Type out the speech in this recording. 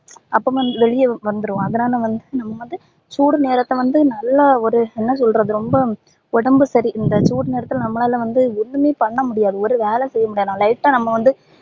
அப்போ வந்து வெளிய வந்துரும் அதுனால வந்து நம்ப வந்து சூடு நேரத்துல வந்து நல்லா ஒரு என்ன சொல்றது ரொம்ப உடம்பு சரி இந்த சூடு நேரத்துல நம்பலால வந்து எதுவுமே பண்ண முடியாது ஒரு வேலை கூட செய்ய முடியாது lite டா நம்ப வந்து